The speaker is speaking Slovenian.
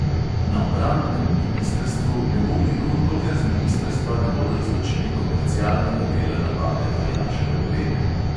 Na obrambnem ministrstvu ne bo miru, dokler z ministrstva ne bodo izločili komercialnega dela nabave vojaške opreme.